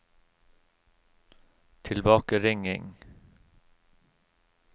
tilbakeringing